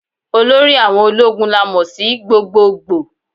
Olórí àwọn ológun la mo sí gbogboogbò.